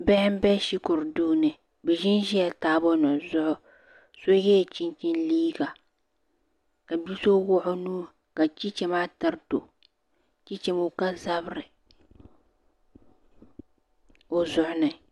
Bihi n be shikuru duu ni bɛ ʒinʒi la taabo nima zuɣu so yela chinchini liiga ka bia so wuɣi o nuu ka chicha maa tiriti o chicha ŋɔ ka zabri o zuɣu ni.